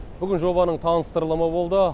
бүгін жобаның таныстырылымы болды